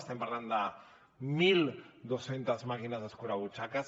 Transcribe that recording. estem parlant de mil dos cents màquines escurabutxaques